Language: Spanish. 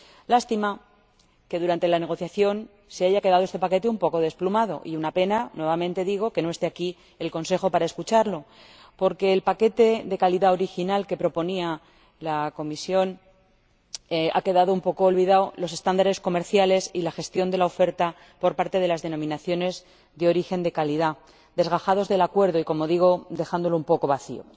lástima que durante la negociación se haya quedado este paquete un poco desplumado y una pena —lo digo nuevamente— que no esté aquí el Consejo para oírlo, porque el paquete de calidad original que proponía la Comisión ha quedado un poco olvidado y los estándares comerciales y la gestión de la oferta por parte de las denominaciones de origen de calidad desgajados del acuerdo y, como digo, dejándolo un poco vacío.